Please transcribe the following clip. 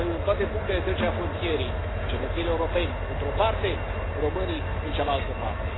În toate punctele de trecere a frontierei cetățenii europeni sunt într o parte, iar românii în cealaltă parte.